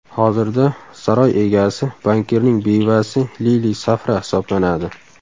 Hozirda saroy egasi bankirning bevasi Lili Safra hisoblanadi.